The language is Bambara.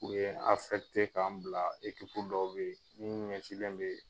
U ye n k'an bila dɔw be ye, munnu ɲɛsilen bee